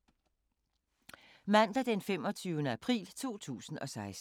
Mandag d. 25. april 2016